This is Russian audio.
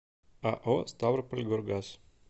ао ставропольгоргаз